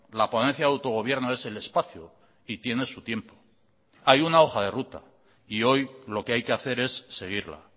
la ponencia de autogobierno es el espacio y tiene su tiempo hay una hoja de ruta y hoy lo que hay que hacer es seguirla